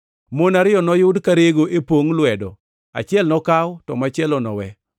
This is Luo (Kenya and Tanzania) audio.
Mon ariyo noyudi karego e pongʼ lwedo; achiel nokaw to machielo nowe.